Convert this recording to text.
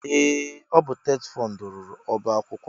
Ee! Ọ bụ TETFUND rụrụ ọbaakwụkwọ a.